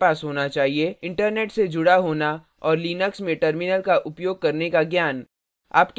internet से जुडा होना और लिनक्स में terminal का उपयोग करने का ज्ञान